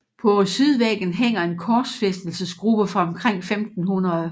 Ved sydvæggen hænger en korsfæstelsesgruppe fra omkring 1500